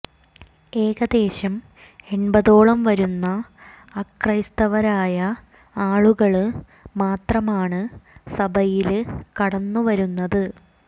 ഏകദേശം എണ്പതോളം വരുന്ന അക്രൈസ്തവരായ ആളുകള് മാത്രമാണ് സഭയില് കടന്നു വരുന്നത്